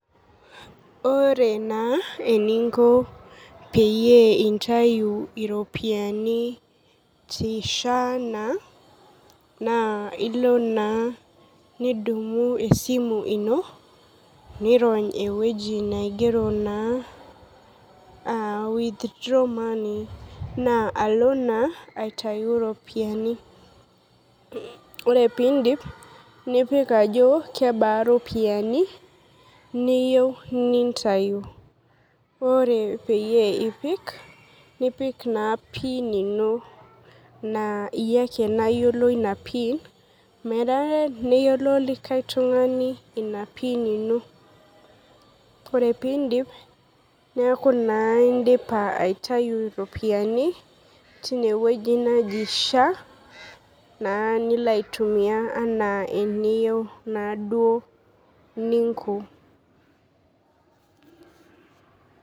Ore naa eninko peyie intayu iropiani ti SHA naa nirony ewueji naigero naa uh withdraw money naa alo naa aitayu iropiani ore pindip nipik ajo kebaa ropiani niyieu nintayu ore peyie ipik nipik naa pii nino naa iyie ake nayiolo ina pin menare neyiolo likae tung'ani ina pin ino ore pindip neaku naa indipa aitayu ropiani tine wueji naji SHA naa nilo aitumia anaa eniyieu naaduo ninko.